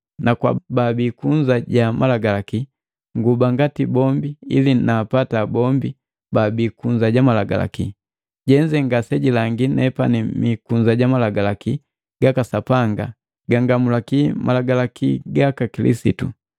Na kwa baabii kunza ja malagalaki, nguba ngati bombi, ili naapata bombi babii kunza ja malagalaki. Jenze ngasejilangi nepani mikunza ja malagalaki gaka Sapanga, gangamulaki malagalaki gaka Kilisitu.